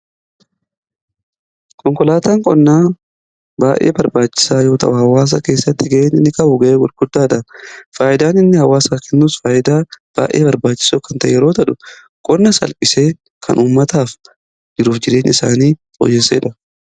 Konkolaataan qonnaa baay'ee barbaachisaa yoo ta'u hawaasa keessatti ga'ee inni qabu ga'ee gudaadha. Faayyidaan inni hawaasaaf kennus faayidaa baayee barbaachisoo kan ta'e yeroo ta'u qonna salphisee kan uummataaf jiruuf jirenya isaanii fooyyessudha.